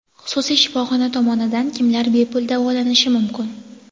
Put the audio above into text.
Xususiy shifoxona tomonidan kimlar bepul davolanishi mumkin?.